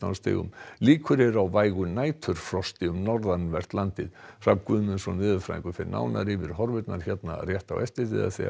stigum líkur á vægu næturfrosti um norðanvert landið Hrafn Guðmundsson veðurfræðingur fer nánar yfir veðurhorfurnar hér rétt á eftir